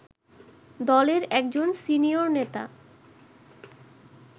দলের একজন সিনিয়র নেতা